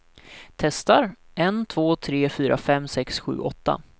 Testar en två tre fyra fem sex sju åtta.